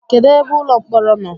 Kedụ ebe ụlọ mkpọrọ nọ?